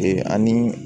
Ee ani